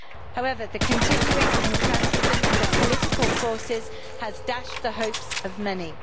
However, the continuing intransigence of political forces has dashed the hopes of many.